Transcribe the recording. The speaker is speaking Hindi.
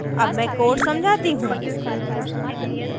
अब मैं code समझाती हूँ